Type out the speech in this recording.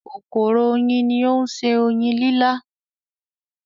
“kòkòrò oyin” ni ó ń se oyin lílá.